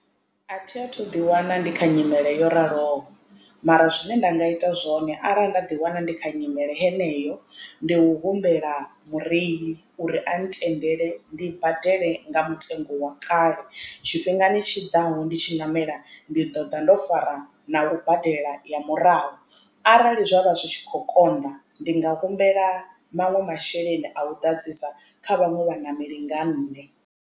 A thi a thu ḓi wana ndi kha nyimele yo raloho mara zwine nda nga ita zwone arali nda ḓi wana ndi kha nyimele heneyo ndi u humbela mureili uri a ntendele ndi badele nga mutengo wa kale tshifhingani tshiḓaho ndi tshi ṋamela ndi ḓo ḓa ndo fara ya u badela ya murahu arali zwa vha zwi tshi kho konḓa ndi nga humbela maṅwe masheleni a u ḓadzisa kha vhaṅwe vhaṋameli nga nṋe.